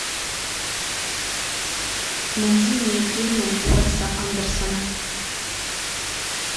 найди мне фильмы уэса андерсона